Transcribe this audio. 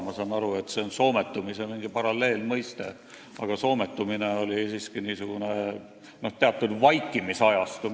Ma saan aru, et see on mingi soometumise paralleelmõiste, aga soometumine tähendas siiski teatud vaikimisajastut.